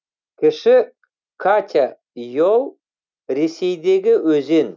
кіші катя ель ресейдегі өзен